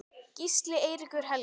Gísli Eiríkur Helgi.